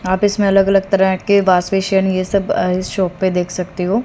आप इसमें अलग अलग तरह के वॉश बेसिन ये सब अ शॉप पे देख सकते हो।